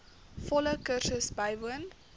volle kursus bywoon